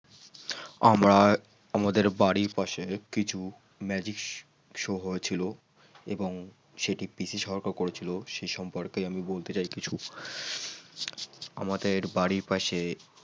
আমার আমাদের বাড়ির পাশে কিছু Magic show হয়েছিল এবং সেটি পিসি সরকার করেছিল সেই সম্পর্কে আমি বলতে চাই কিছু আমাদের বাড়ির পাশে